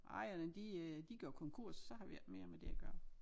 Ejerne de øh de er gået konkurs så har vi ikke mere med det at gøre